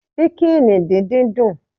Ṣíkìnì díndín dùn